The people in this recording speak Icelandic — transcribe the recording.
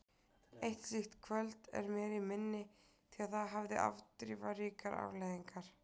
Eitt slíkt kvöld er mér í minni því það hafði afdrifaríkar afleiðingar.